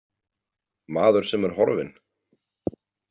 Maður sem er horfinn?